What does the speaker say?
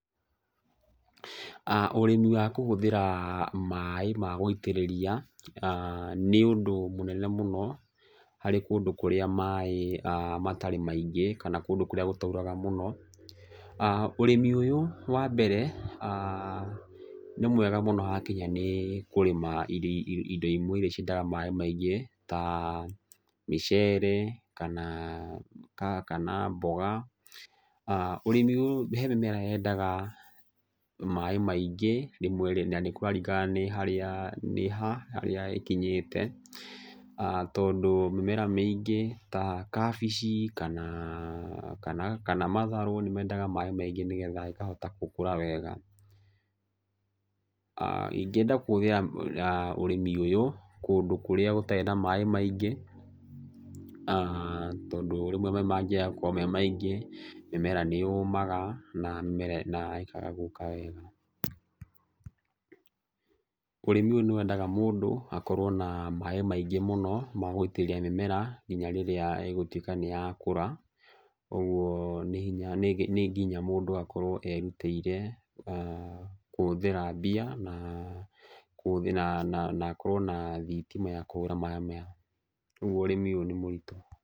Ũrĩmi wa kũhũthĩra maĩ ma gũitĩrĩria, nĩ ũndũ mũnene mũno harĩ kũndũ kũrĩa maĩ matarĩ maingĩ kana kũndũ kũrĩa gũtairaga mũno. Ũrĩmi ũyũ wa mbere, nĩ mwega mũno hakinya nĩ kũrĩma indo imwe irĩa ciendaga maĩ maingĩ ta mĩcere kana, kana mboga. Ũrĩmi ũyũ he mĩmera yendaga maĩ maingĩ na nĩ kũraringana nĩ ha harĩa ĩkinyĩte. Tondũ mĩmera mĩingĩ ta kabici kana matharũ nĩ mendaga maĩ maingĩ nĩgetha ĩkahota gũkũra wega. Ingĩenda kũhũthĩra ũrĩmi ũyũ kũndũ kũrĩa gũtarĩ na maĩ maingĩ, tondũ rĩmwe maĩ mangĩaga gũkorwo me maingĩ mĩmera nĩ yũmaga na ĩkaga gũka wega. Ũrĩmi ũyũ nĩ wendaga mũndũ akorwo na maĩ maingĩ mũno ma gũitĩriria mĩmera nginya rĩrĩa yatuĩka nĩ yakũra. Ũguo nĩ nginya mũndũ akorwo erutĩire kũhũthĩra mbia na akorwo na thitima ya kũhũra maĩ maya. Ũguo ũrĩmi ũyũ nĩ mũritũ.